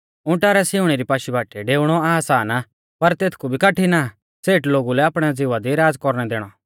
उंटा रै सिउणी री पाशी बाटीऐ डेउणौ आसान आ तेथकु भी कठिण आ सेठ लोगु लै आपणै ज़िवा दी राज़ कौरणै दैणौ